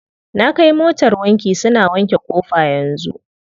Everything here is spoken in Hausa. Na kai motar wanki, suna wanke ƙofa yanzu.